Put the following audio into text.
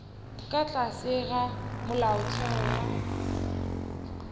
ka tlase ga molaotheo wa